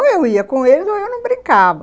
Ou eu ia com eles ou eu não brincava.